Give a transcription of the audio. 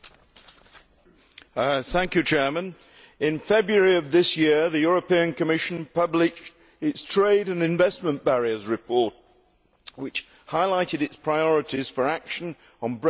Mr President, in February of this year, the European Commission published its trade and investment barriers report which highlighted its priorities for action on breaking down barriers to trade.